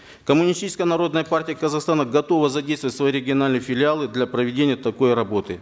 коммунистическая народная партия казахстана готова задействовать свои региональные филиалы для проведения такой работы